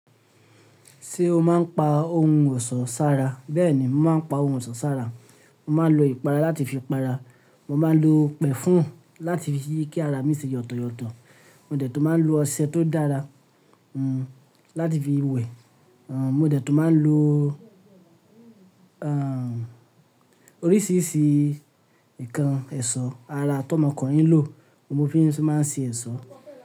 Ṣé o máa ń pa ohun ọ̀ṣọ́ sára? Bẹ́ẹ̀ni, mo máa ń pa ohun ọ̀ṣọ́ sára. Mo máa ń lo ìpara láti fi para, mo máa ń lo pẹ̀fún láti fi kí ara mi ṣe yọ̀tọ̀yọ̀tọ̀, mo dẹ̀ tún máa ń lo ọṣẹ tó dára, hmm, láti fi wẹ̀, hmm, mo dẹ̀ tún máa ń lo, hmm, oríṣìíríṣìí nǹkan ẹ̀ṣọ́ ara tó ọmọkùnrin ń lò, mo fi sì máa ń ṣe ẹ̀ṣọ́.